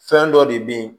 Fɛn dɔ de bɛ yen